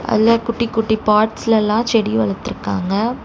அதுல குட்டி குட்டி பாட்ஸ்ல எல்லா செடி வளத்துருக்காங்க.